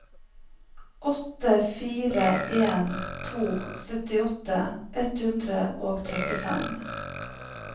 åtte fire en to syttiåtte ett hundre og trettifem